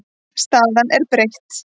Staðan er breytt.